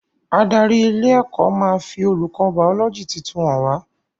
Adarí ilé ẹ́kọ́ máa fi olùkọ́ bàọ́lọ́gì tuntun hàn wá